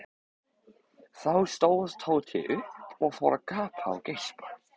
Þá stóð Tóti upp og fór að gapa og geispa.